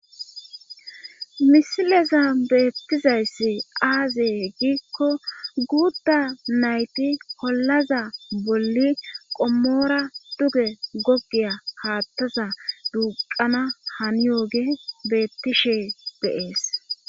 misileza beettizayssi aaze heggiikko guudda nayti kollaza bolli qommoora duge gogiya haattaza duuqana haniyooge beettishe deees